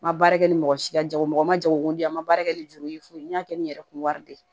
N ma baara kɛ ni mɔgɔ si ka jago ye mɔgɔ ma jagoko di an ma baara kɛ ni juru ye fo n y'a kɛ ni yɛrɛ kun wari de ye